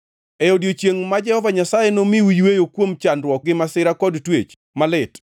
E odiechiengʼ ma Jehova Nyasaye nomiu yweyo kuom chandruok gi masira kod twech malit,